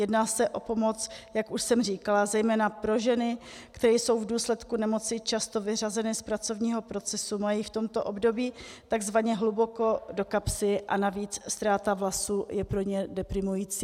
Jedná se o pomoc, jak už jsem říkala, zejména pro ženy, které jsou v důsledku nemoci často vyřazeny z pracovního procesu, mají v tomto období tzv. hluboko do kapsy a navíc ztráta vlasů je pro ně deprimující.